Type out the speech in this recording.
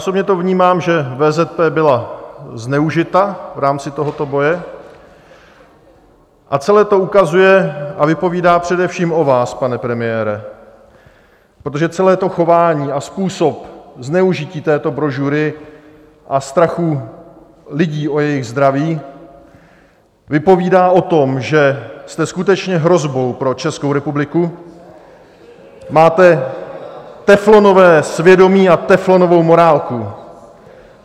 Osobně to vnímám, že VZP byla zneužita v rámci tohoto boje, a celé to ukazuje a vypovídá především o vás, pane premiére, protože celé to chování a způsob zneužití této brožury a strachu lidí o jejich zdraví vypovídá o tom, že jste skutečně hrozbou pro Českou republiku , máte teflonové svědomí a teflonovou morálku.